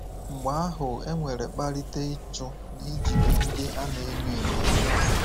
Mgbe ahu enwere kpalite ịchụ na ijide ndị a na-enye enyo